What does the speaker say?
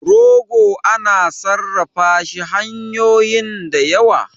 rogo ana sarrafa shi hanyoyin da yawa